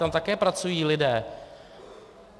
Tam také pracují lidé.